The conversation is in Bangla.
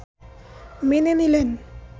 মেনে নিলেন